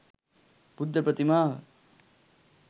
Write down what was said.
බුද්ධ ප්‍රතිමාව